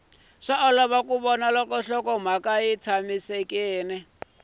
olovi ku vona loko nhlokomhaka